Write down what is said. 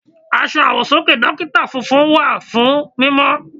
Aṣọ àwọ̀sọ́kè Dókítà funfun wà fún mímọ́.